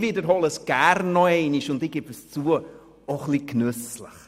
Ich wiederhole es gerne, und zugegebenermassen auch ein wenig genüsslich: